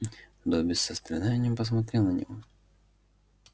добби с состраданием посмотрел на него